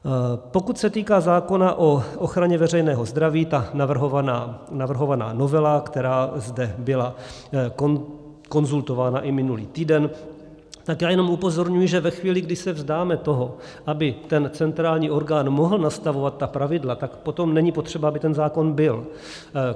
Pokud se týká zákona o ochraně veřejného zdraví, ta navrhovaná novela, která zde byla konzultována i minulý týden, tak já jenom upozorňuji, že ve chvíli, kdy se vzdáme toho, aby ten centrální orgán mohl nastavovat ta pravidla, tak potom není potřeba, aby ten zákon byl.